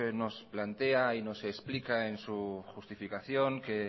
nos plantea y nos explica en su justificación que